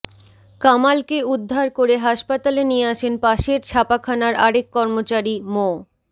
কামালকে উদ্ধার করে হাসপাতালে নিয়ে আসেন পাশের ছাপাখানার আরেক কর্মচারী মো